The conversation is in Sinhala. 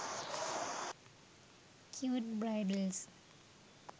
cute bridals